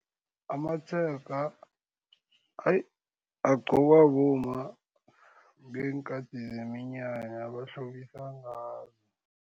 Amatshega agqokwa bomma ngeenkhathi zeminyanya bahlobisa ngawo.